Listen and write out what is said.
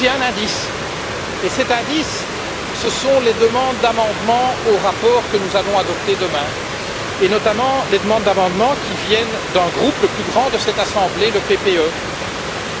En fait, j'ai un indice ce sont les demandes d'amendements au rapport que nous allons adopter demain, et notamment les demandes d'amendements qui viennent du plus grand groupe de cette Assemblée, le PPE,